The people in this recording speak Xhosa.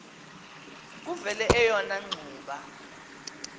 kuvele eyona ngxuba